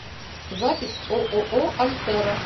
запись ооо альтера